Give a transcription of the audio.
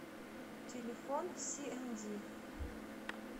телефон сиэмди